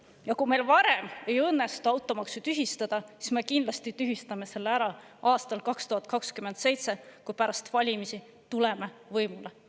Ja kui meil varem ei õnnestu automaksu tühistada, siis me kindlasti tühistame selle ära aastal 2027, kui pärast valimisi tuleme võimule.